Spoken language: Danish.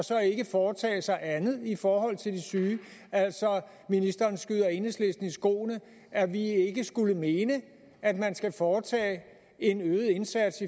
og så ikke foretage sig andet i forhold til de syge altså ministeren skyder enhedslisten i skoene at vi ikke skulle mene at man skal foretage en øget indsats